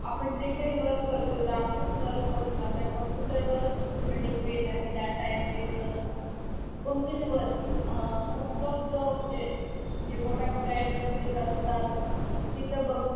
आपण जे काही work करतो ते आता आमचंच work बघणं आता computer वरच पूर्ण depend आहे data entry च म्हण कोणतेही work most of the म्हणजे जे मोठ्या मोठ्या industries असतात तिथं बघ